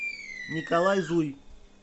николай зуй